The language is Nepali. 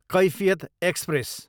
कैफियत एक्सप्रेस